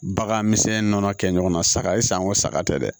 Bagan misɛnnin nɔnɔ kɛ ɲɔgɔnna saga e sago saga tɛ dɛ